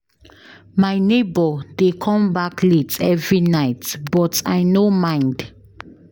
My nebor dey come back late every night but I no mind.